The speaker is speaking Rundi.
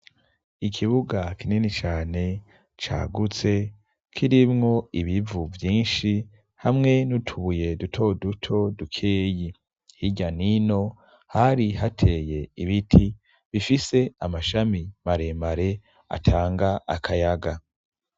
Ikibuga kinini cane cagutse kirimwo ibivu vyinshi hamwe n'utubuye duto duto dukeyi hirya nino hari hateye ibiti bifise amashami mare mare atanga akayaga.